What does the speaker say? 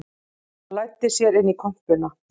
Hann læddi sér inn í kompuna